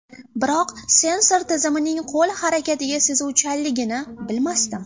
Biroq sensor tizimining qo‘l harakatiga sezuvchanligini bilmasdim.